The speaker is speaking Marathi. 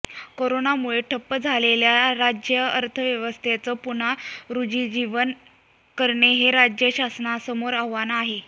कोरोनामुळे ठप्प झालेल्या राज्यअर्थव्यवस्थेचं पुनरुज्जीवन करणे हे राज्य शासनासमोर आव्हान आहे